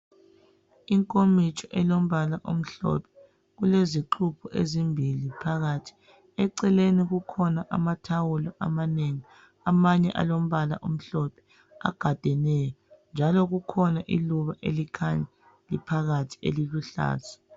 Inkomitsho elombala omhlophe .Ilezixubho ezimbili phakathi .Eceleni kukhona amathawulo amanengi amanye alombala omhlophe agadeneyo .Njalo kukhona iluba elincane liphakathi eliluhlaza .